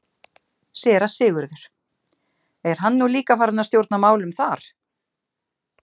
SÉRA SIGURÐUR: Er hann nú líka farinn að stjórna málum þar?